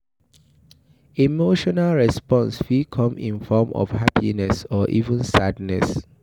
Emotional response fit come in form of happiness or even sadness